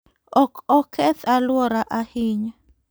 Ok oketh alwora ahinya.